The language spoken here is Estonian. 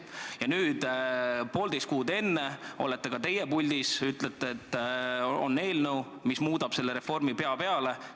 Ja nüüd, poolteist kuud enne tähtaega olete teie puldis ja ütlete, et teil on eelnõu, mis keerab selle reformi pea peale.